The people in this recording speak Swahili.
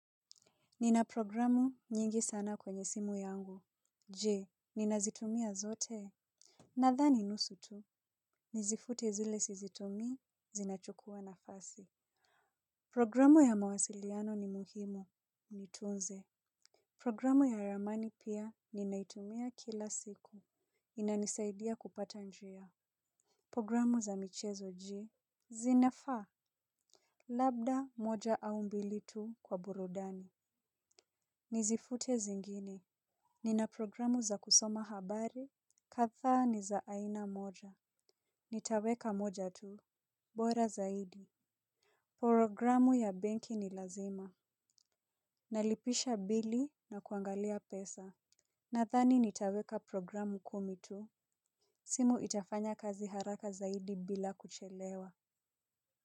Nina programu nyingi sana kwenye simu yangu. Je, ninazitumia zote? Nadhani nusu tu. Nizifute zile sizitumii zinachukua nafasi. Programu ya mawasiliano ni muhimu. Niitunze. Programu ya ramani pia ninaitumia kila siku. Inanisaidia kupata njia. Programu za michezo je, zinafaa? Labda moja au mbili tu kwa burudani. Nizifute zingine, nina programu za kusoma habari. Kadhaa ni za aina moja. Nitaweka moja tu. Bora zaidi. Programu ya benki ni lazima. Nalipisha bill na kuangalia pesa. Nadhani nitaweka programu kumi tu. Simu itafanya kazi haraka zaidi bila kuchelewa.